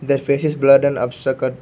That face is blurred abstract.